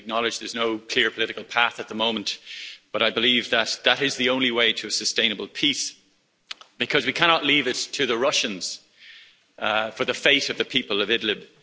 I acknowledge there's no clear political path at the moment, but I believe that is the only way to a sustainable peace, because we cannot leave it to the Russians, for the fate of the people of Idlib.